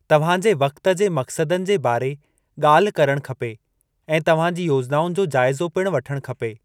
तव्हांजे वक़्त जे मक़्सदनि जे बारे ॻाल्ह करणु खपे ऐं तव्हांजी योजनाउनि जो जाइज़ो पिणु वठणु खपे।